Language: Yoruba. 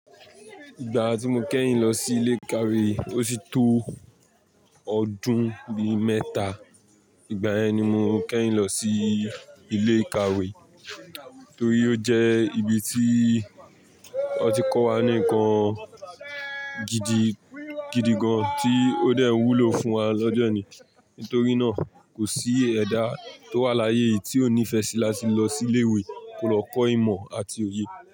Ìgbà tí mo kẹ́yin lọ sí ilé ìkàwé, ó sí tó ọdún bí mẹ́ta. Ìgbà yẹn ni mo kẹ́yin lọ sí ilé ìkàwé torí ó jẹ́ ibi tí wọ́n ti ń kọ́ wa nǹkan gidi gan ti ó dẹ́rùn wúlò fún wa lọ́jọ́ ni. Nítorí náà, kò sí ẹ̀dá tó wà láyé yìí tí ó nífẹsí láti lọ sí ilé ìwé kó lọ kọ́ ìmọ̀ àti òye.